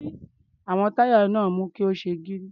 Àwọn táyà náà mú kí ó ṣe gírí.